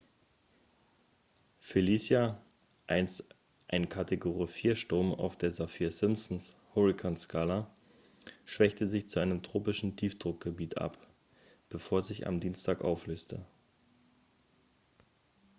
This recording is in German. felicia einst ein kategorie 4-sturm auf der saffir-simpson-hurrikanskala schwächte sich zu einem tropischen tiefdruckgebiet ab bevor sie sich am dienstag auflöste